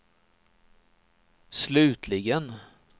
slutligen